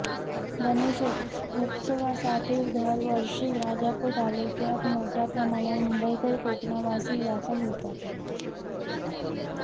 गणेशोत्सवासाठी दरवर्षी राजापूर तालुक्यात मोठय़ा प्रमाणावर मुंबईकर कोकणवासी दाखल होतात